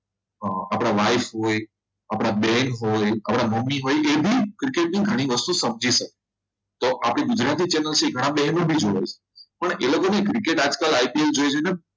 આપણા wise આપણા બેન હોય આપણા મમ્મી હોય એબી ક્રિકેટની ઘણી વસ્તુઓ સમજી શકે છે આપણા ગુજરાતી channel ની ઘણા બહેનો પણ જોવે છે પણ એ લોકોની ક્રિકેટ આજકાલ આઇપીએલ જોઈ જોઈને